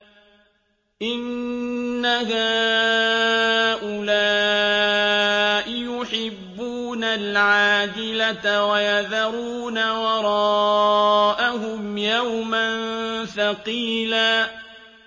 إِنَّ هَٰؤُلَاءِ يُحِبُّونَ الْعَاجِلَةَ وَيَذَرُونَ وَرَاءَهُمْ يَوْمًا ثَقِيلًا